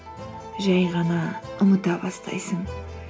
жай ғана ұмыта бастайсың